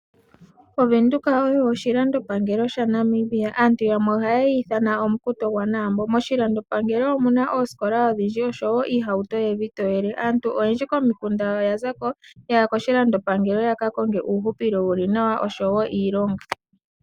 O Venduka oyo oshilandopangelo sha Namibia, aantu yamwe ohaye yi ithana omukuto gwa Naambo, moshilandopangelo omuna oosikola odhindji oshowo oohauto evi toyele, aantu oyendji komikunda oya zako yaya koshilandopangelo yaka konge uuhupilo wuli nawa oshowo iilonga.